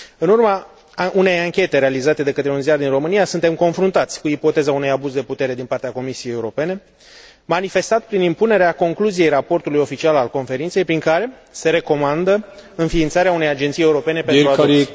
În urma unei anchete realizate de către un ziar din România, suntem confruntați cu ipoteza unui abuz de putere din partea Comisiei Europene, manifestat prin impunerea concluziei raportului oficial al Conferinței, prin care se recomandă înființarea unei Agenții Europene pentru Adopții.